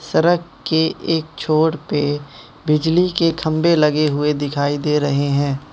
सड़क के एक छोर पे बिजली के खंभे लगे हुए दिखाई दे रहे हैं।